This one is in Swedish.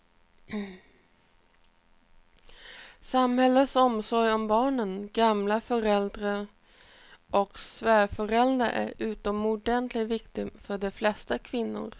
Samhällets omsorg om barnen, gamla föräldrar och svärföräldrar är utomordentligt viktig för de flesta kvinnor.